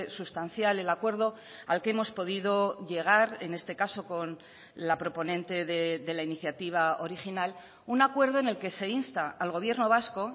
sustancial el acuerdo al que hemos podido llegar en este caso con la proponente de la iniciativa original un acuerdo en el que se insta al gobierno vasco